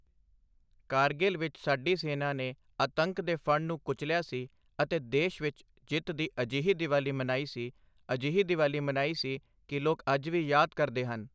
ਕਰਗਿਲ ਵਿੱਚ ਸਾਡੀ ਸੈਨਾ ਨੇ ਆਤੰਕ ਦੇ ਫਣ ਨੂੰ ਕੁਚਲਿਆ ਸੀ, ਅਤੇ ਦੇਸ਼ ਵਿੱਚ ਜਿੱਤ ਦੀ ਅਜਿਹੀ ਦੀਵਾਲੀ ਮਨੀ ਸੀ, ਅਜਿਹੀ ਦੀਵਾਲੀ ਮੰਨੀ ਸੀ ਕਿ ਲੋਕ ਅੱਜ ਵੀ ਯਾਦ ਕਰਦੇ ਹਨ।